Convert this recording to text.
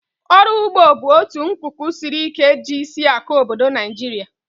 Ọrụ ụgbọ bụ otu nkuku siri ike ji isiakụ obodo Naijiria